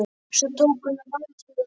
Svo tók hún á rás inn í bæ.